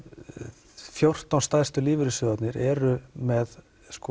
fjórtán stærstu lífeyrissjóðirnir eru með